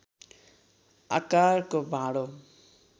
आकारको भाँडो।